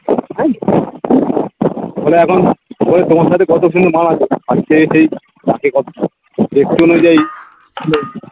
তবে এখন ওই তোমার সাথে কত মানাবে দেখতে অনুযায়ী